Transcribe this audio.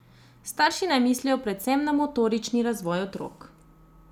Starši naj mislijo predvsem na motorični razvoj otrok.